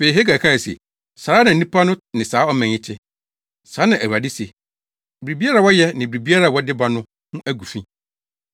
Afei, Hagai kae se, “ ‘Saa ara na nnipa no ne saa ɔman yi te.’ Saa na Awurade se. ‘Biribiara a wɔyɛ ne biribiara a wɔde ba no ho agu fi.